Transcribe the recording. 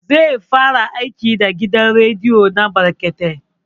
Zai fara aiki da gidan rediyo na brekete